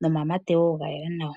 Nomamate woo gayela nawa.